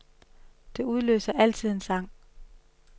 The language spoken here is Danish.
Det udløser altid en sang.